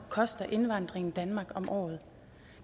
koster indvandringen i danmark om året